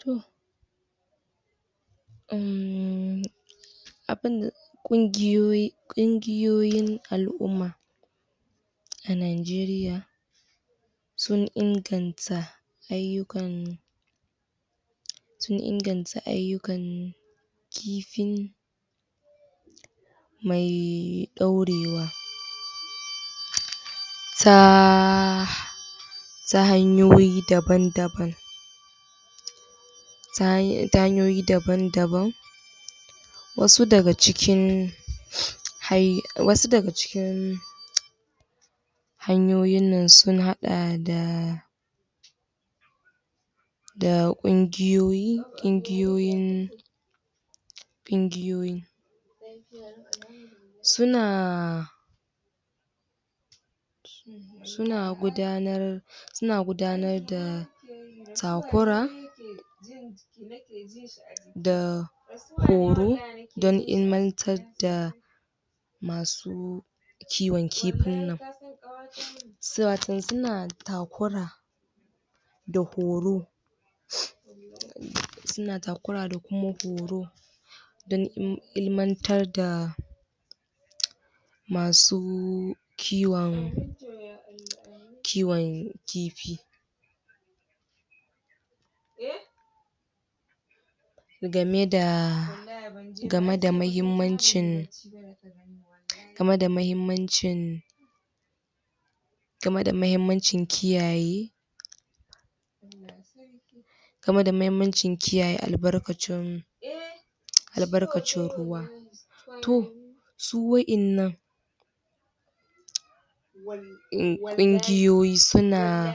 To um abin ƙungiyoyi, ƙungiyoyin al'umma a nageriya sun inganta ayukan, sun inganta ayukan kifin me dorewa ta ta hanyoyi daban-daban, ta hanyoyi daban daban. Wasu daga cikin wasu daga cikin hanyoyin nan sun haɗa da da ƙungiyoyi ƙungiyoyin ƙungiyoyin su na su na su na gudanar da takura da horo don ilimantar da kiwon kifin nan. Su na takura da horo su na takura da kuma horo don ilimantar da masu kwon masu kiwon kifi game da game da mahimmancin game da mahimmancin game da mahimmancin kiyaye game da mahimmancin kiyaye albarkacin alabarkacin ruwa. To su waɗannan ƙungiyoyi su na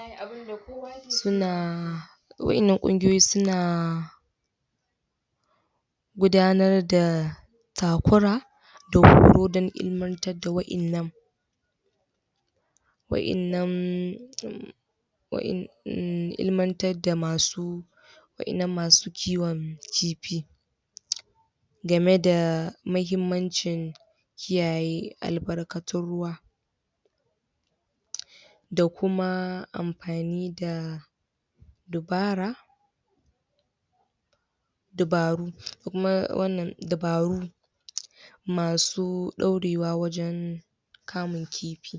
su na waɗannan ƙungiyoyi su na gudanar da takura kodan ilimantar da waɗannan waɗannan wadan ilimantar da masu waɗannan masu kiwon kifi game da mahimmancin kiyaye albarkatun ruwa da kuma amfani da dabara dabaru kuma wannan dabaru masu dorewa wajen kamun kifi.